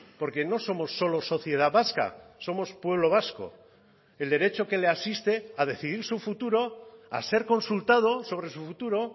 porque no somos solo sociedad vasca somos pueblo vasco el derecho que le asiste a decidir su futuro a ser consultado sobre su futuro